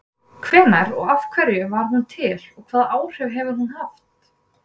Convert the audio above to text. Hvenær og af hverju varð hún til og hvaða áhrif hefur hún haft?